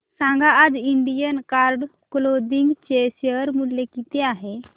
सांगा आज Indian card clothing चे शेअर मूल्य किती आहे